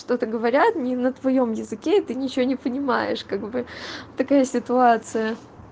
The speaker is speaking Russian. что-то говорят не на твоём языке и ты ничего не понимаешь как бы такая ситуация